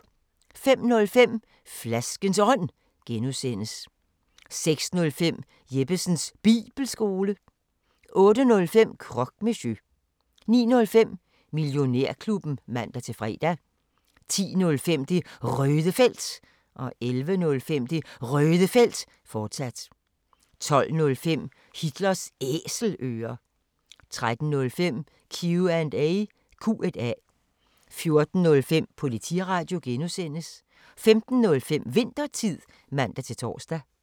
05:05: Flaskens Ånd (G) 06:05: Jeppesens Bibelskole 08:05: Croque Monsieur 09:05: Millionærklubben (man-fre) 10:05: Det Røde Felt 11:05: Det Røde Felt, fortsat 12:05: Hitlers Æselører 13:05: Q&A 14:05: Politiradio (G) 15:05: Winthertid (man-tor)